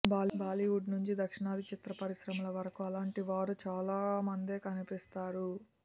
బాలీవుడ్ నుంచి దక్షిణాది చిత్ర పరిశ్రమల వరకూ అలాంటి వారు చాలా మందే కనిపిస్తారు